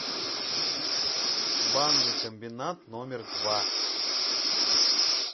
банный комбинат номер два